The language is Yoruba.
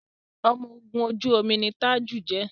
ọmọ ògún ojú omi ní Taju jé.